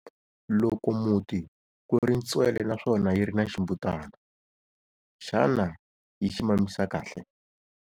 Loko muti ku ri ntswele naswona yi ri na ximbutana, xana yi xi mamisa kahle?